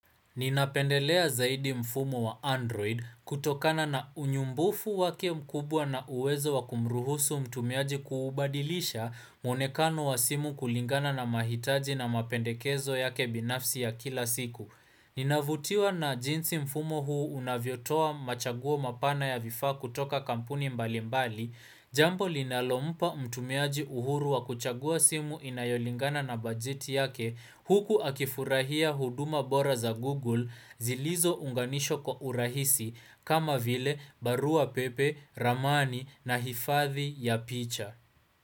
Ninapendelea zaidi mfumo wa Android kutokana na unyumbufu wake mkubwa na uwezo wa kumruhusu mtumiaji kuubadilisha muonekano wa simu kulingana na mahitaji na mapendekezo yake binafsi ya kila siku. Ninavutiwa na jinsi mfumo huu unavyotoa machaguo mapana ya vifaa kutoka kampuni mbali mbali Jambo linalompa mtumiaji uhuru wa kuchagua simu inayolingana na bajeti yake Huku akifurahia huduma bora za Google zilizo unganishwa kwa urahisi kama vile barua pepe, ramani na hifadhi ya picha.